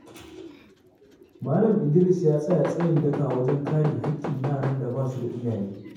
Malam Idris ya tsaya tsayin daka wajen kare haƙƙin yaran da ba su da iyaye.